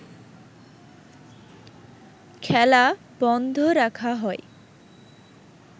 খেলা বন্ধ রাখা হয়